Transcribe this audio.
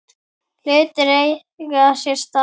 Hlutir eiga sér stað.